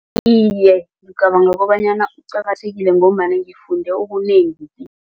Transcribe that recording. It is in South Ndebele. Iye, ngicabanga kobanyana kuqakathekile ngombana ngifunde okunengi